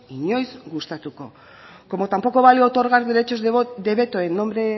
inoiz gustatuko como tampoco vale otorgar derechos de veto en nombre